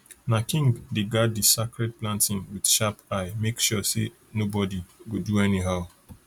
na king dey guard di sacred planting with sharp eye make sure say nobody nobody go do anyhow